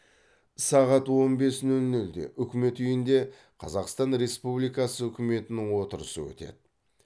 сағат он бес нөл нөлде үкімет үйінде қазақстан республикасы үкіметінің отырысы өтеді